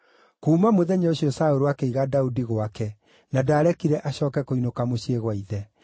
Kuuma mũthenya ũcio Saũlũ akĩiga Daudi gwake na ndaarekire acooke kũinũka mũciĩ gwa ithe.